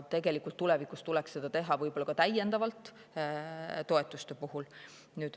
Tulevikus tuleks seda teha võib-olla veel mingite toetuste puhul.